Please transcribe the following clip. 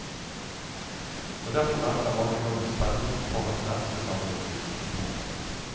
Og derfor venter mange nå med spenning på hans neste samling dikt. punktum